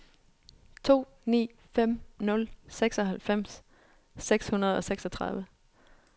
to ni fem nul seksoghalvfems seks hundrede og seksogtredive